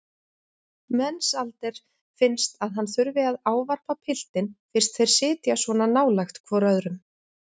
Mensalder finnst að hann þurfi að ávarpa piltinn fyrst þeir sitja svona nálægt hvor öðrum.